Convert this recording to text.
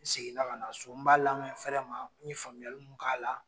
N seginna ka na so n b'a lamɛ n fɛrɛ ma, n ye faamuyalimu k'a la